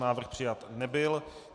Návrh přijat nebyl.